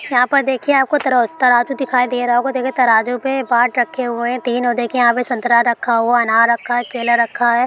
यहा पर देखिए आपको तरो-तराजू दिखाई दे रहा होगा देखिए तराजू पे बाट रखे हुए है तीन ओर देखिए यहा पे संतरा रखा हुआ है अनार रखा है केला रखा है ।